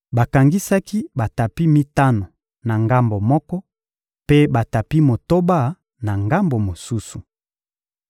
Bakangisaki batapi mitano na ngambo moko, mpe batapi motoba na ngambo mosusu.